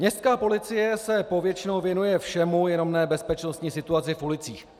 Městská policie se povětšinou věnuje všemu, jenom ne bezpečnostní situaci v ulicích.